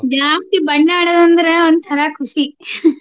ಜಾಸ್ತಿ ಬಣ್ಣ ಆಡುದಂದ್ರೆ ಒಂಥರಾ ಖುಷಿ.